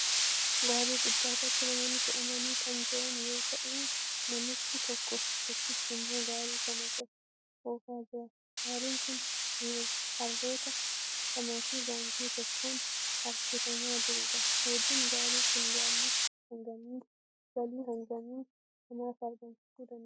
Gaarii gubbarratti namoonni fe'amanii kan jiran yoo ta'uu namichi tokkichi immoo gaarii kana oofaa jira. Gaariin kun harroota lamaa fi gaangee tokkoon harkifamaa jirudha. Hojiin gaarii kun galii hagamii namaaf argamsiisuu danda'a?